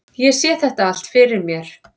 Ég sé þetta allt fyrir mér.